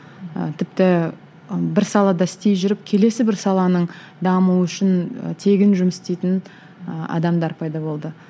ы тіпті ы бір салада істей жүріп келесі бір саланың дамуы үшін ы тегін жұмыс істейтін ыыы адамдар пайда болды